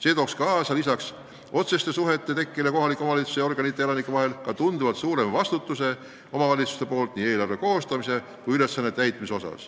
See tooks kaasa lisaks tihedatele otsestele suhetele kohaliku omavalitsuse organite ja elanike vahel ka omavalitsuste tunduvalt suurema vastutuse nii eelarve koostamisel kui ka ülesannete täitmisel.